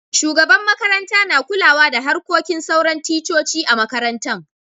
Shugaban makaranta na kulawa da harkokin sauran ticcoci a'makarantan.